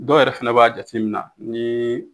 Dɔw yɛrɛ fɛnɛ b'a jateminɛn nii.